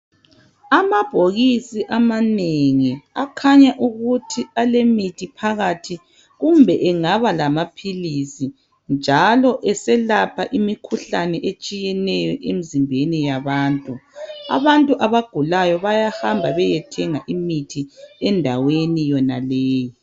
Amabhokisi amanengi, akhanya ukuthi alemithi phakathi kumbe angaba lama philisi, njalo eselapha imikhuhlane etshiyeneyo emzimbeni yabantu. Abantu abagulayo bayahamba beyethenga imithi endaweni yonaleyo.